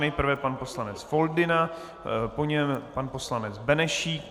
Nejprve pan poslanec Foldyna, po něm pan poslanec Benešík.